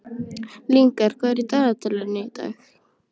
Lyngar, hvað er á dagatalinu í dag?